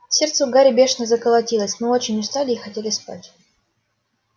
сердце у гарри бешено заколотилось мы очень устали и хотели спать